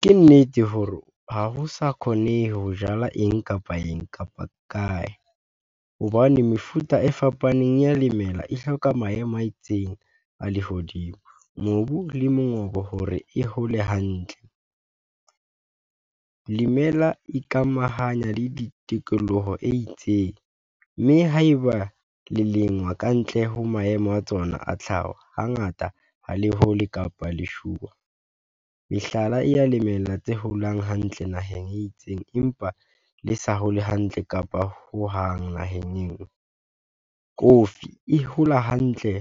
Ke nnete hore ha ho sa kgonehe ho jala eng kapa eng kapa kae, hobane mefuta e fapaneng ya lemela e hloka maemo a itseng a lehodimo, mobu le mongobo, hore e hole hantle. Lemela ikamahanya le di tokoloho e itseng, mme haeba le lengwa kantle ho maemo a tsona a tlhaho, hangata ha le hole kapa leshuwa. Mehlala e ya lemela tse holang hantle naheng e itseng, empa le sa hole hantle kapa hohang naheng eo coffee e hola hantle